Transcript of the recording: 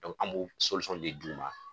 an b'o de d'u ma